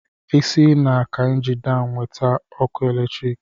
Esi na Kaịnji Daam nweta ọkụ eletriki.